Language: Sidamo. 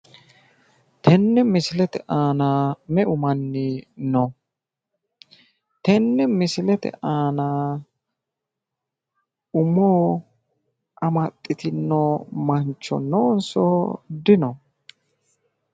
tenne misilete aana meu manni no?, tenne misilete aanaa umo amaxitino mancho noonso dino?